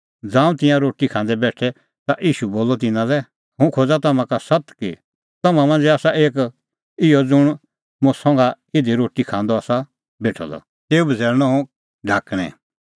ज़ांऊं तिंयां रोटी खांदै बेठै ता ईशू बोलअ तिन्नां लै हुंह खोज़ा तम्हां का सत्त कि तम्हां मांझ़ै आसा एक इहअ ज़ुंण मुंह संघा इधी रोटी खांदअ बी आसा बेठअ द तेऊ बझ़ैल़णअ हुंह ढाकणैं